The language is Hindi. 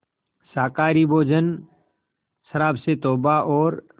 शाकाहारी भोजन शराब से तौबा और